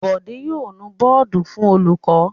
Bọ̀dé yóò nu bọ́ọ́dù fún olùkọ́.